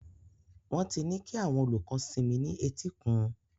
Wọ́n ti ní kí àwọn olùkọ́ sinmi ní etíkun.